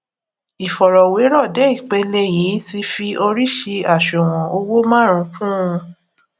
ìfọrọwérò dé ipele yìí ti fi oríṣii àṣùwòn owó márùnún kùn un